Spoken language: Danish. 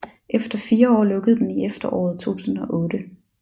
Efter 4 år lukkede den i efteråret 2008